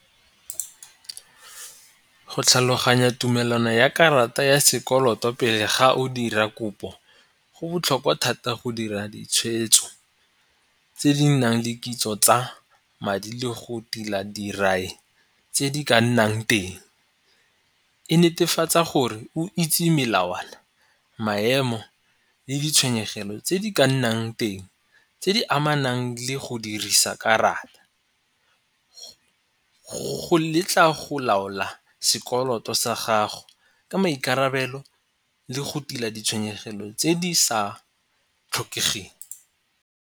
Go tlhaloganya tumelano ya karata ya sekoloto pele ga o dira kopo go botlhokwa thata go dira ditshwetso tse di nang le kitso tsa madi le go tila dirai tse di ka nnang teng. E netefatsa gore o itse melawana, maemo le ditshwenyegelo tse di ka nnang teng tse di amanang le go dirisa karata. Go letla go laola sekoloto sa gago ka maikarabelo le go tila ditshwenyegelo tse di sa tlhokegeng.